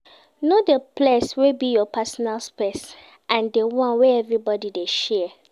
Know di place wey be your personal space and di one wey everybody de share